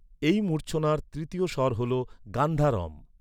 এই মূর্ছনার তৃতীয় স্বর হল গান্ধারম।